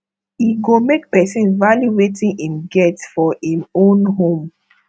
e go make person value wetin im get for im own home